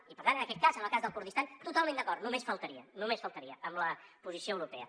i per tant en aquest cas en el cas del kurdistan totalment d’acord només faltaria només faltaria amb la posició europea